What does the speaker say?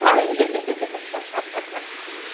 Saí!